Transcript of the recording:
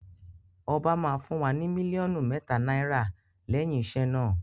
Ọba máa fún wa ní mílíọ̀nù mẹ́ta náírà lẹ́yìn iṣẹ́ náà.